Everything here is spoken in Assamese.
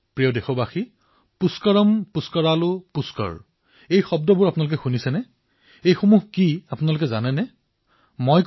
মোৰ মৰমৰ দেশবাসীসকল পুষ্কৰম পুষ্কৰালু পুষ্কৰঃ এই শব্দকেইটা আপোনালোকে কেতিয়াবা শুনিছেনে আপোনালোকে জানেনে ই কি হয়